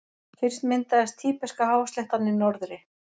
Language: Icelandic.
Fyrst myndaðist Tíbeska-hásléttan í norðri.